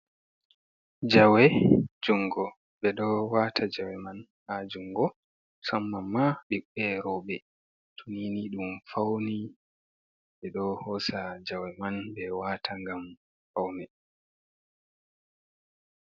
Jawe jungo ɓedo wata jawe man ha jungo, musamman ɓiɓɓe roɓe tunini dum fauni ɓedo hosa jawe man be wata gam fauni.